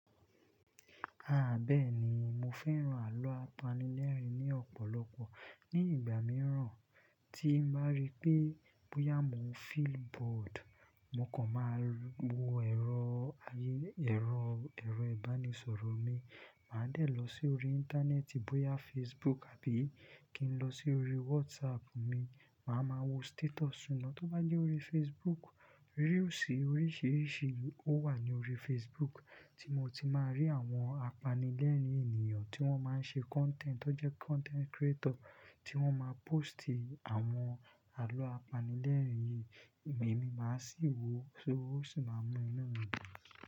À bẹ́ẹ̀ ni, mo fẹ́ràn àlọ́ apanilẹ́rìn ni ọ̀pọ̀lọpọ̀. Ni ìgbà mìíràn tí n bá rí pé bóyá mo n feel bored, mo kàn máa wo ẹ̀rọ, ẹ̀rọ, ẹ̀rọ ìbánisọ̀rọ̀ mi. Màá dẹ̀ lọ sí orí Íńtánẹ́ẹ̀tì, bóyá Facebook àbí kí n lọ sí orí WhatsApp mi, màá máa wo status wọn. Tó bá jẹ́ orí Facebook, reels oríṣìíríṣìí ó wà ní orí Facebook tí mo ti máa rí àwọn apanilẹ́rìn-ín ènìyàn tí wọ́n máa ń ṣe content, tó jẹ́ content creator tí wọ́n máa ń póòstì àwọn àlọ́ apanilẹ́rìn-ín yìí. Ẹ̀mí máa sì wò ó, ó sì máa mú inú mi dùn.